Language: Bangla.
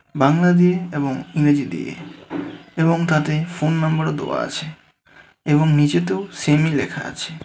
বাংলা দিয়ে এবং ইংরেজি দিয়ে এবং তাতে ফোননম্বরও দেওয়া আছে এবং নীচেতেও সেমই লেখা আছে.